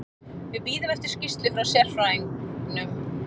Við bíðum eftir skýrslu frá sérfræðingnum.